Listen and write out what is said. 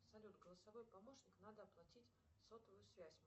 салют голосовой помощник надо оплатить сотовую связь